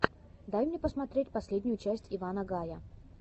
дай мне посмотреть последнюю часть ивана гая